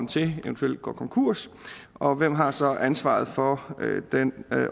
til eventuelt går konkurs og hvem har så ansvaret for